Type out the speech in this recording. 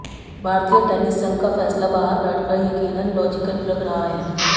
भारतीय टेनिस संघ का फैसला बाहर बैठकर यकीनन लॉजिकल लग रहा है